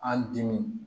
An dimin